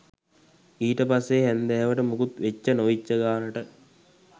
ඊට පස්සෙ හැන්දෑවට මොකුත් වෙච්ච නොවිච්ච ගාණට